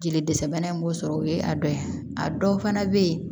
Jeli dɛsɛ bana in b'o sɔrɔ o ye a dɔ ye a dɔw fana bɛ yen